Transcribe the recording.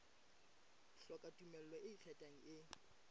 hloka tumello e ikgethang e